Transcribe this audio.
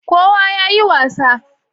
kowa ya yi wasa